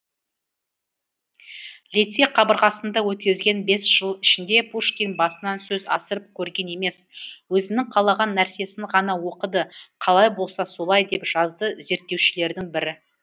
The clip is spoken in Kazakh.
лицей қабырғасында өткізген бес жыл ішінде пушкин басынан сөз асырып көрген емес өзінің қалаған нәрсесін ғана оқыды қалай болса солай деп жазды зерттеушілердің бірі